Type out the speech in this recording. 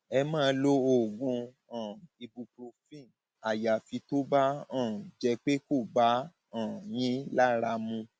ẹ máa lo oògùn um ibuprofen àyàfi tó bá um jẹ pé kò bá a um yín lára mu